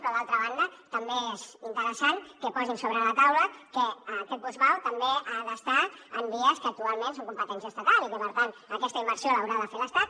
però d’altra banda també és interessant que posin sobre la taula que aquest bus vao també ha d’estar en vies que actualment són competència estatal i que per tant aquesta inversió l’haurà de fer l’estat